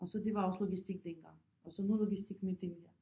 Og så det var også logistik dengang og så nu logistik med den her